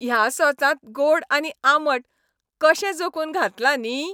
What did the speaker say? ह्या सॉसांत गोड आनी आंबट कशें जोखून घातलां न्ही.